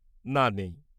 না, নেই।